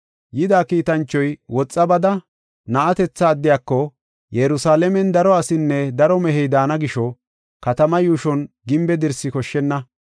Yida kiitanchoy, “Woxa bada, na7atetha addiyako, ‘Yerusalaamen daro asinne daro mehey daana gisho, katamaa yuushon gimbe dirsi koshshenna.